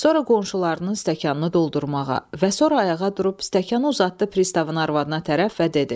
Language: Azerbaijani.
Sonra qonşularının stəkanını doldurmağa və sonra ayağa durub stəkanı uzatdı pristavın arvadına tərəf və dedi.